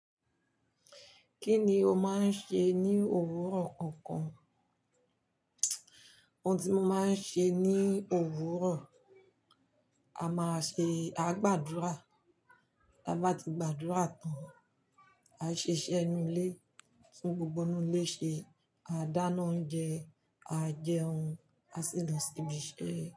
Kí ni o máa ń ṣe ní òwúrọ̀ kankan? Ohun tí mo máa ń ṣe ní òwúrọ̀, a máa ṣe, àá gbàdúrà. Táa bá tí gbàdúrà tán, àá ṣe iṣẹ́ inú ilé, tún gbogbo inú ilé ṣe, àá dáná oúnjẹ, àá jẹun, àá sì lọ síbi iṣẹ́.